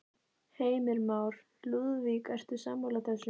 Heimir Már: Lúðvík, ertu sammála þessu?